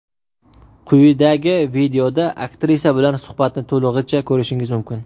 Quyidagi videoda aktrisa bilan suhbatni to‘lig‘icha ko‘rishingiz mumkin.